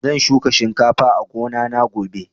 Zan shuka shinkafa a gona na gobe